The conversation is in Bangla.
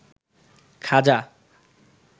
খাজা